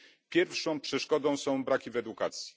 Pierwszą przeszkodą są braki w edukacji.